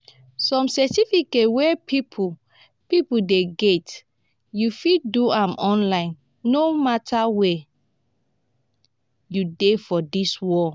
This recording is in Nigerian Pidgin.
some certificate wey people people dey get u fit do am online no matter where u dey for dis world.